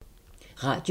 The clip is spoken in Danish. Radio 4